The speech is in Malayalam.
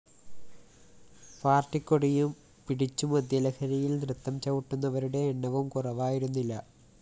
പാര്‍ട്ടിക്കൊടിയും പിടിച്ചു മദ്യലഹരിയില്‍ നൃത്തം ചവിട്ടുന്നവരുടെ എണ്ണവും കുറവായിരുന്നില്ല